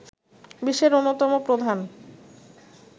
বিশ্বের অন্যতম প্রধান